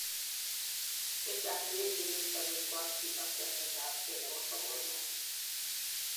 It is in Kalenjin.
chechang cheechen en sobet ko active ak chemet ab gei nebo sobonwek